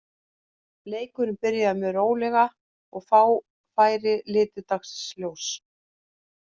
Leikurinn byrjaði mjög rólega og fá færi litu dagsins ljós.